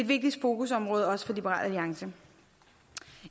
vigtigt fokusområde også for liberal alliance